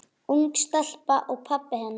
Ung stelpa og pabbi hennar.